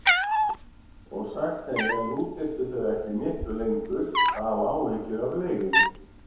Og sagt henni að nú þyrftu þau ekki miklu lengur að hafa áhyggjur af leigunni.